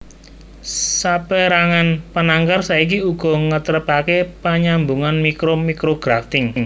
Sapérangan penangkar saiki uga ngetrepaké panyambungan mikro micrografting